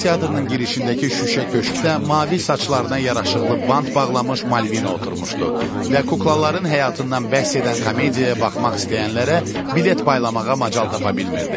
Kukla teatrının girişindəki şüşə köşkdə mavi saçlarına yaraşıqlı band bağlamış Malvina oturmuşdu və kuklaların həyatından bəhs edən komediyaya baxmaq istəyənlərə bilet paylamağa macal tapa bilmirdi.